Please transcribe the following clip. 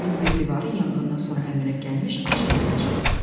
Evin bir divarı yanğından sonra əmələ gəlmiş açıqlığa çıxırdı.